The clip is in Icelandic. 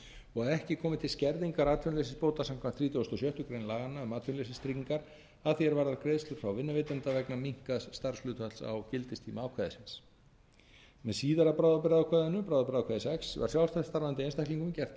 og ekki komi til skerðingar atvinnuleysisbóta samkvæmt þrítugustu og sjöttu grein laganna um atvinnuleysistryggingar að því er varðar greiðslur frá vinnuveitanda vegna minnkaðs starfshlutfalls á gildistíma ákvæðisins með síðara bráðabirgðaákvæðinu bráðabirgðaákvæði sex var fjárfest varðandi einstaklingum gert